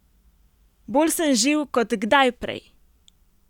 Bolj sem živ kot kdaj prej!